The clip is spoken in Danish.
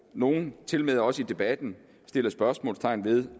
nogle tilmed også i debatten sætter spørgsmålstegn ved